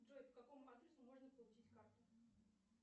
джой по какому адресу можно получить карту